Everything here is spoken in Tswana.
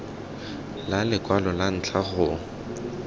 la lekwalo la ntlha go